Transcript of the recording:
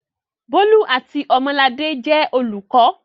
Bólú àti Ọmọladé jẹ́ olùkọ́.